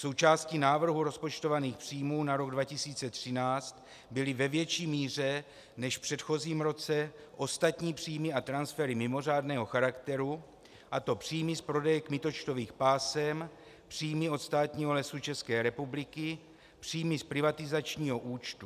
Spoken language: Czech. Součástí návrhu rozpočtovaných příjmů na rok 2013 byly ve větší míře než v předchozím roce ostatní příjmy a transfery mimořádného charakteru, a to příjmy z prodeje kmitočtových pásem, příjmy od státních Lesů České republiky, příjmy z privatizačního účtu.